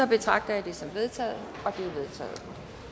betragter jeg dette som vedtaget det